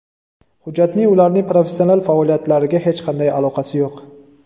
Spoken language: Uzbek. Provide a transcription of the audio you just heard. Hujjatning ularning professional faoliyatlariga hech qanday aloqasi yo‘q.